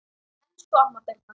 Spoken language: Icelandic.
Elsku amma Birna.